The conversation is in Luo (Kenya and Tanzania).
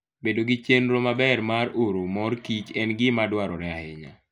Bedo gi chenro maber mar oro mor kich en gima dwarore ahinya.